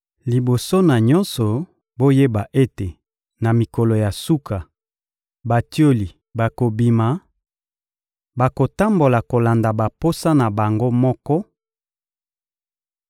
Liboso na nyonso, boyeba ete, na mikolo ya suka, batioli bakobima, bakotambola kolanda baposa na bango moko